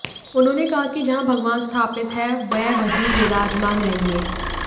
उन्होंने कहा कि जहां भगवान स्थापित हैं वह वहीं विराजमान रहेंगे